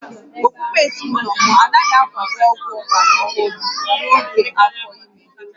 Okpukpe ezinụlọ m anaghị akwado ọgwụ ọgbara ọhụrụ n'oge afọ ime